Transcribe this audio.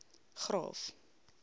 graaff